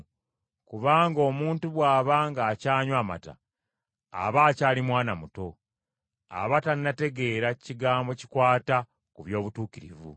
Kubanga omuntu bw’aba ng’akyanywa mata, aba akyali mwana muto. Aba tannategeera kigambo kikwata ku by’obutuukirivu.